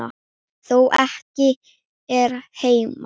Þó ekki hér heima.